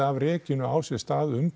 af rekinu á sér stað um